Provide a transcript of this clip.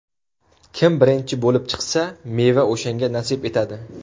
Kim birinchi bo‘lib chiqsa, meva o‘shanga nasib etadi”.